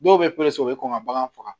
Dɔw bɛ u bɛ kɔn ka bagan faga